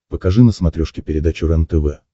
покажи на смотрешке передачу рентв